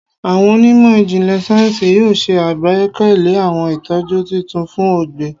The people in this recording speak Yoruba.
Awọn onimo ijinlẹ sayensi yoo ṣe agbekalẹ awọn itọju titun fun ọgbẹ